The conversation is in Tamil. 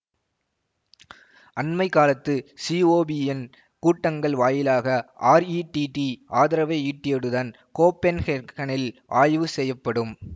அண்மைக்காலத்து சிஓபியின் கூட்டங்கள் வாயிலாக ஆர்ஈடீடீ ஆதரவை ஈட்டியடுதன் கோப்பென்ஹேர்க்ஹனில் ஆய்வு செய்யப்படும்